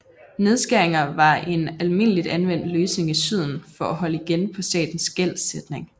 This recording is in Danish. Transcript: Nedskæringer var en almindeligt anvendt løsning i Syden for at holde igen på statens gældsætning